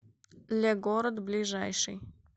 легород ближайший